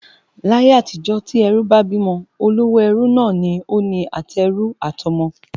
Láyé-àtijó tí ẹrú bá bímọ, olówó ẹrú náà ni ó ni àtẹrú àtọmọ